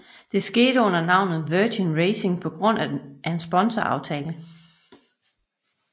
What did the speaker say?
Det skete under navnet Virgin Racing på grund af en sponsoraftale